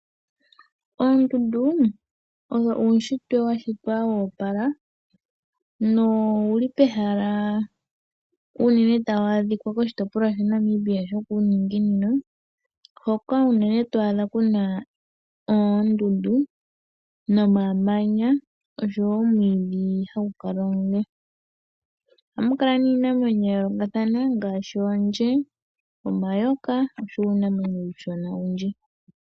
Oondundu owo uushitwe washitwa wo opala. Noha wu adhika unene koshitopolwa shaNamibia shokuuninginino hoka unene to adha kuna oondundu nomamanya oshowo omwiidhi ha gu kala omule . Ohamukala iinamwenyo ya yoolokathana ngaashi oondje, omayoka noshowo uunamwenyo uushona owundji.